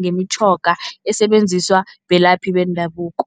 ngemitjhoga esebenziswa belaphi bendabuko.